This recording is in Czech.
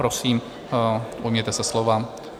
Prosím, ujměte se slova.